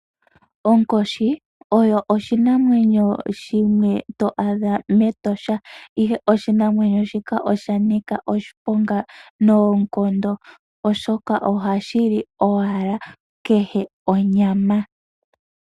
Onkoshi oyo oshinamwenyo shimwe to adha mEtosha ihe oshinamwenyo sika osha nika oshiponga noonkondo oshoka ohashi li owala kehe onyama.